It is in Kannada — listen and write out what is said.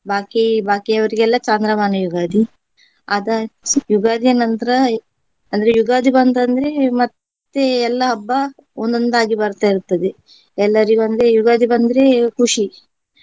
ಬಾಕಿ ಬಾಕಿಯವರಿಗೆಲ್ಲ ಚಂದ್ರಮಾನ ಯುಗಾದಿ ಅದಾ~ ಯುಗಾದಿಯ ನಂತರ ಅಂದ್ರೆ ಯುಗಾದಿ ಬಂತಂದ್ರೆ ಮತ್ತೆ ಎಲ್ಲಾ ಹಬ್ಬ ಒಂದೊಂದಾಗಿ ಬರ್ತಾ ಇರ್ತದೆ ಎಲ್ಲರಿಗೊಂದೆ ಯುಗಾದಿ ಬಂದ್ರೆ ಖುಷಿ.